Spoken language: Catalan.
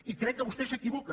i crec que vostè s’equivoca